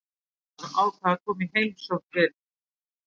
Forstjórinn þar ákvað að koma í heimsókn til